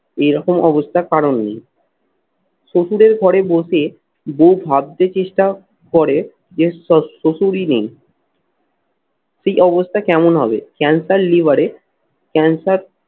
এরকম অবস্থার কারণ নেই। শশুরের ঘরে বসে বউ ভাবতে চেষ্টা করে যে শ্বশশ্বশুরই নেই ঠিক অবস্থা কেমন হবে? cancer liver এ cancer